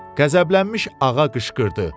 Qəzəblənmiş ağa qışqırdı.